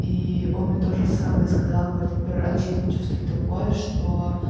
и он мне тоже самое сказал говорит я в первый раз в жизни чувствую такое что